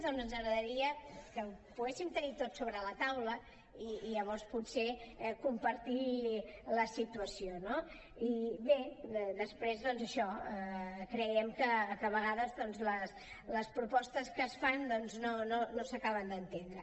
home ens agradaria que ho poguéssim tenir tots sobre la taula i llavors potser compartir la situació no i bé després doncs això creiem que a vegades les propostes que es fan no s’acaben d’entendre